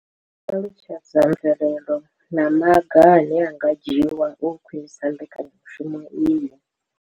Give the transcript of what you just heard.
I ṱalutshedza mvelelo na maga ane a nga dzhiwa u khwinisa mbekanya mushumo iyi.